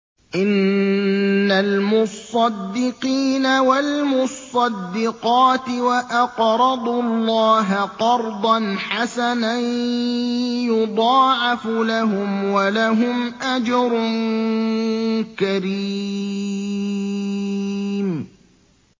إِنَّ الْمُصَّدِّقِينَ وَالْمُصَّدِّقَاتِ وَأَقْرَضُوا اللَّهَ قَرْضًا حَسَنًا يُضَاعَفُ لَهُمْ وَلَهُمْ أَجْرٌ كَرِيمٌ